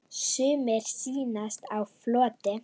Sumir sýnast á floti.